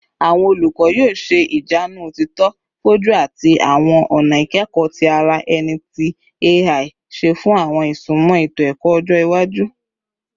Awọn olukọ yoo ṣe ijanu otito foju ati awọn ọna ikẹkọ ti ara ẹni ti AI ṣe fun awọn isunmọ eto-ẹkọ ọjọ iwaju